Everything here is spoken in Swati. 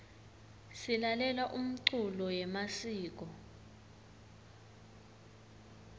silalela umculo yemasiko